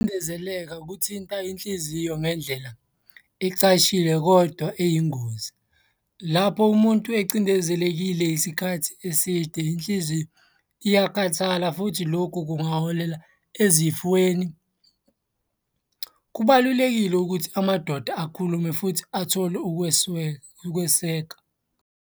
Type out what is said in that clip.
Ukucindezeleka kuthinta inhliziyo ngendlela ecashile kodwa eyingozi. Lapho umuntu ecindezelekile isikhathi eside inhliziyo iyakhathala futhi lokhu kungaholela ezifweni. Kubalulekile ukuthi amadoda akhulume futhi athole ukweseka.